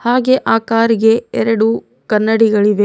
ಹಾಗೆ ಆ ಕಾರ್ ಇಗೆ ಎರಡು ಕನ್ನಡಿಗಳಿವೆ.